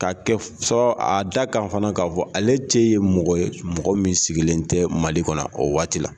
Ka kɛ fɔ a da kan fana, k'a fɔ ale te mɔgɔ ye, mɔgɔ min sigilen tɛ Mali kɔnɔ o waati la.